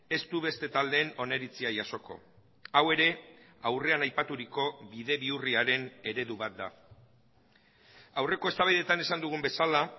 ez du beste taldeen oniritzia jasoko hau ere aurrean aipaturiko bide bihurriaren eredu bat da aurreko eztabaidetan esan dugun bezala